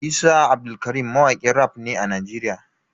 Isa Abdulkarim mawakin raf ne a Nigeria.